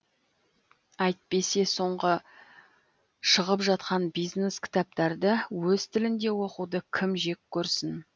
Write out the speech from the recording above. әйтпесе соңғы шығып жатқан бизнес кітаптарды өз тілінде оқуды кім жек көрсін